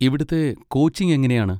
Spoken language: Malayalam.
ഇവിടുത്തെ കോച്ചിങ് എങ്ങനെയാണ്?